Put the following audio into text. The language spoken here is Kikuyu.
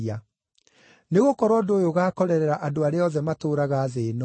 Nĩgũkorwo ũndũ ũyũ ũgaakorerera andũ arĩa othe matũũraga thĩ-ĩno.